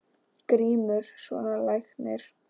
GRÍMUR: Svona læknir.